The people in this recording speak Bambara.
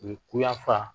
U ye kuyafa